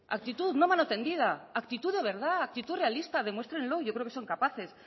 actitud no mano tendida actitud de verdad actitud realista demuéstrenlo yo creo que son capaces